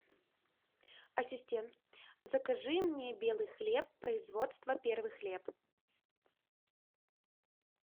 ассистент закажи мне белый хлеб производства первый хлеб